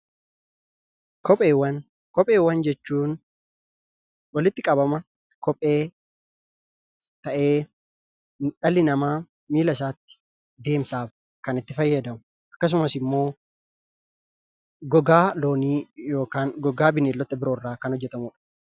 Kopheewwan jechuun walitti qabama kophee ta'ee, dhalli namaa miilla isaatti deemsaaf kan itti fayyadamu akkasumas ammoo gogaa loonii yookaan gogaa bineeldota biroo irraa kan hojjetamudha.